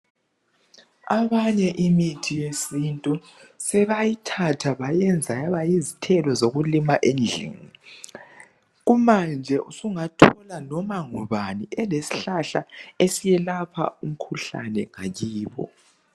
Abanye imithi yesintu sebayithatha bayiyenza yayaba yizithelo zokulima endlini kumanje usungathola noma ngubani elesihlahla esiyelapha umkhuhlane ngakibo.